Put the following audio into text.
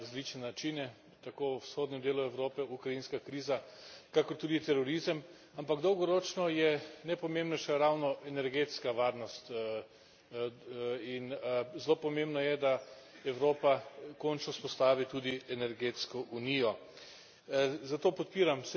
Ta je sicer ogrožena na različne načine, tako v vzhodnem delu Evrope ukrajinska kriza, kakor tudi terorizem, ampak dolgoročno je najpomembnejša ravno energetska varnost in zelo pomembno je, da Evropa končno vzpostavi tudi energetsko unijo.